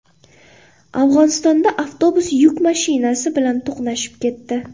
Afg‘onistonda avtobus yuk mashinasi bilan to‘qnashib ketdi.